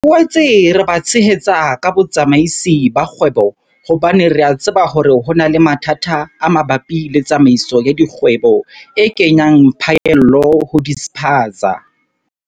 Re boetse re ba tshehetsa ka botsamaisi ba kgwebo hobane re a tseba hore ho na le mathata a mabapi le tsamaiso ya dikgwebo e kenyang phaello ho dispaza.